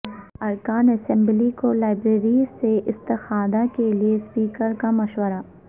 ارکان اسمبلی کو لائبریریز سے استفادہ کیلئے اسپیکر کا مشورہ